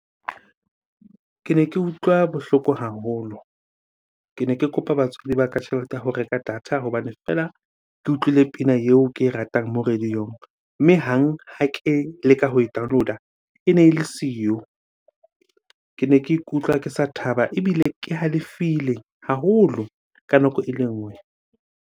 Kene ke utlwa bohloko haholo. Kene ke kopa batswadi ba ka tjhelete ya ho reka data hobane feela ke utlwile pina eo ke e ratang mo radio-ong. Mme e hang ha ke leka ho e download-a ene ele siyo. Kene ke ikutlwa ke sa thaba ebile ke halefile haholo ka nako ele nngwe.